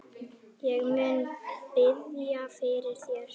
Ég mun biðja fyrir þér.